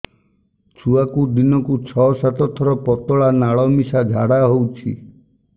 ଛୁଆକୁ ଦିନକୁ ଛଅ ସାତ ଥର ପତଳା ନାଳ ମିଶା ଝାଡ଼ା ହଉଚି